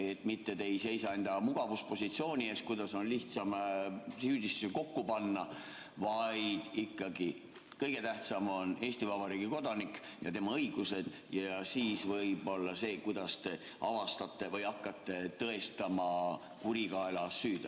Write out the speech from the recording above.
Te mitte ei seisa enda mugavuspositsiooni eest, kuidas on lihtsam süüdistusi kokku panna, vaid ikkagi kõige tähtsam on Eesti Vabariigi kodanik ja tema õigused ja siis võib-olla see, kuidas te avastate või hakkate tõestama kurikaela süüd.